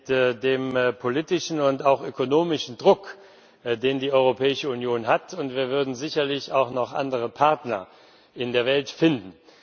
Mit dem politischen und auch ökonomischen Druck, den die Europäische Union ausüben kann, würden wir sicherlich auch noch andere Partner in der Welt finden.